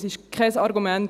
» Das ist kein Argument.